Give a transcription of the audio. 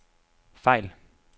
fejl